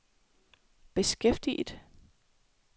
beskæftiget